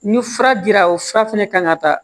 Ni fura dira o fura fɛnɛ kan ka taa